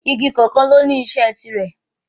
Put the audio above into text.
Igi kọ̀ọ̀kan ló ní iṣẹ́ tiirẹ̀